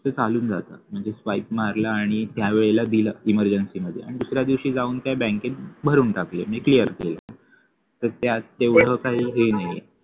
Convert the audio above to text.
ते चालून जात म्हणजे swipe मारलं आणि त्यावेळेला दिल emergency मध्ये आणि दुसऱ्या दिवशी जाऊन त्या बँकेत भरून टाकले आणि clear केले तर त्यात एवढं काही हे नाहीये